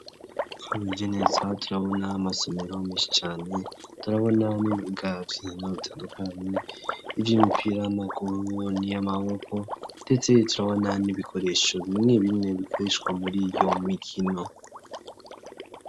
Twiheje neza turabona amasomero meshi cane turabona n'ibibuga vy'inkino bitandukanye vy'imipira y'amguru ni y'amaboko ndetse turabona n'ibikoresho bimwe bimwe bikoreshwa muriyo mikino.